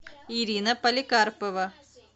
ирина поликарпова